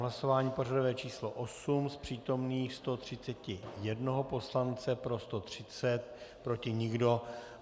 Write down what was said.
Hlasování pořadové číslo 8, z přítomných 131 poslance pro 130, proti nikdo.